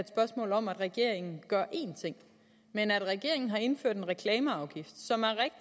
spørgsmål om at regeringen gør én ting men at regeringen har indført en reklameafgift som er